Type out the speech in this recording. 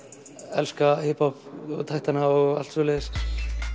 elska hiphopptaktana og allt svoleiðis